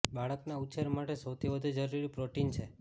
બાળકના ઉછેર માટે સૌથી વધુ જરૂરી પ્રોટીન છે